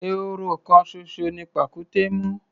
Ehoro kan ṣoṣo ni pàkúté mú.